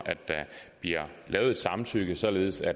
at der bliver lavet et samtykke således